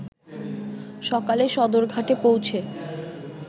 সকালে সদরঘাটে পৌঁছে